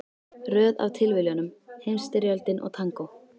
Röð af tilviljunum, Heimsstyrjöldin og tangó.